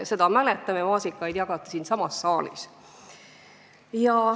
No seda kõike me mäletame, maasikaid jagati isegi siinsamas saalis.